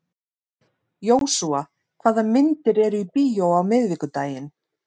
Jósúa, hvaða myndir eru í bíó á miðvikudaginn?